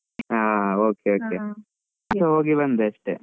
ಹಾ okay okay ನಾನ್ ಹೋಗಿ ಬಂದೆ ಅಷ್ಟೆ.